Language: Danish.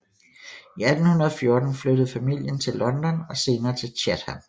I 1814 flyttede familien til London og senere til Chatham